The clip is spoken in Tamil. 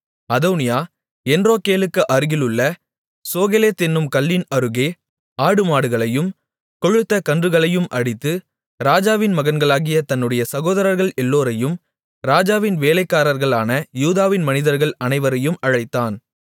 அதோனியா என்ரோகேலுக்கு அருகிலுள்ள சோகெலெத் என்னும் கல்லின் அருகே ஆடுமாடுகளையும் கொழுத்த கன்றுகளையும் அடித்து ராஜாவின் மகன்களாகிய தன்னுடைய சகோதரர்கள் எல்லோரையும் ராஜாவின் வேலைக்காரர்களான யூதாவின் மனிதர்கள் அனைவரையும் அழைத்தான்